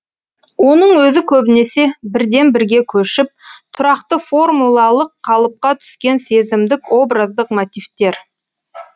оның өзі көбінесе бірден бірге көшіп тұрақты формулалық қалыпқа түскен сезімдік образдық мотивтер